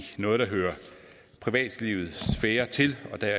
noget der hører privatlivets sfære til og der